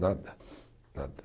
Nada. Nada